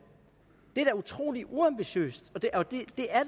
det er da utrolig uambitiøst og det